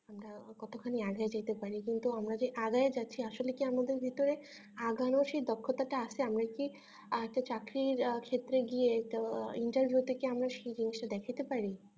আমরা কতখানি এগিয়ে যেতে পারে কিন্তু আমরা যে এগিয়ে যাচ্ছি আসলে কি আমাদের ভেতরে এগোনোর সেই দক্ষতা টা আছে আমরা কি আহ চাকরির ক্ষেত্রে গিয়ে interview তে কি আমরা সেই জিনিসটা দেখতে পারি